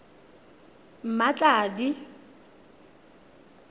mmatladi